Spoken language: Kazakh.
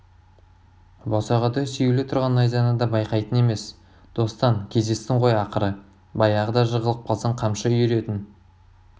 босағада сүйеулі тұрған найзаны да байқайтын емес достан кездестің ғой ақыры баяғыда жығылып қалсаң қамшы үйіретін